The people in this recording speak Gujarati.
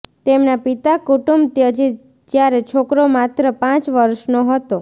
તેમના પિતા કુટુંબ ત્યજી જ્યારે છોકરો માત્ર પાંચ વર્ષનો હતો